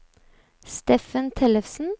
Steffen Tellefsen